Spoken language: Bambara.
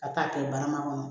Ka taa kɛ barama kɔnɔ